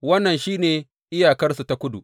Wannan shi ne iyakarsu ta kudu.